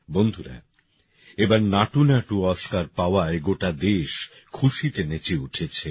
বন্ধুরা এবার নাটুনাটু অস্কার পাওয়ায় গোটা দেশ খুশিতে নেচে উঠেছে